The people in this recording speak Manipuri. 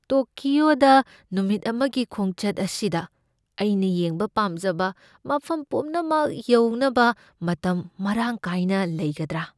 ꯇꯣꯀꯤꯑꯣꯗ ꯅꯨꯃꯤꯠ ꯑꯃꯒꯤ ꯈꯣꯡꯆꯠ ꯑꯁꯤꯗ ꯑꯩꯅ ꯌꯦꯡꯕ ꯄꯥꯝꯖꯕ ꯃꯐꯝ ꯄꯨꯝꯅꯃꯛ ꯌꯧꯅꯕ ꯃꯇꯝ ꯃꯔꯥꯡ ꯀꯥꯏꯅ ꯂꯩꯒꯗ꯭ꯔꯥ?